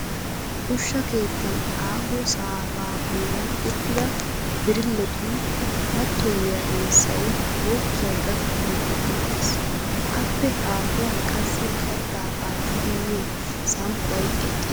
Ushsha keettan aaho saafaa bollan uttida birilletun mattoyiya essay kookkiya gakki duuqettiis. Appe haahuwan qassi kattaa aattidi miyo samppay eqqiis.